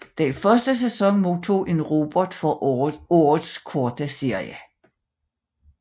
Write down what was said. Den første sæson modtog en Robert for Årets Korte Serie